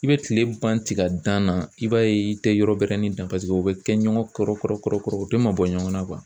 I bɛ kile ban tigɛ dan na i b'a ye i tɛ yɔrɔ bɛrɛnin dan o bɛ kɛ ɲɔgɔn kɔrɔ kɔrɔ u tɛ mabɔ ɲɔgɔn na